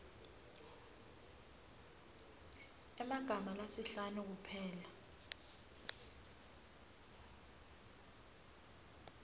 emagama lasihlanu kuphela